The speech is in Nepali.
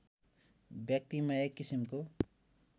व्यक्तिमा एक किसिमको